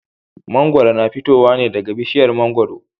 Mangwaro na fitowa ne daga bishiyar mangwaro.